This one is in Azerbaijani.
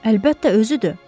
Əlbəttə özüdür.